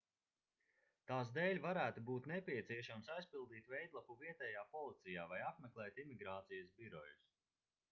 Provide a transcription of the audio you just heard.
tās dēļ varētu būt nepieciešams aizpildīt veidlapu vietējā policijā vai apmeklēt imigrācijas birojus